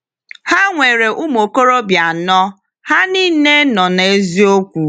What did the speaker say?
Ha nwere ụmụ okorobịa anọ, ha niile nọ n’eziokwu.